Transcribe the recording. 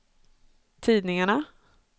tidningarna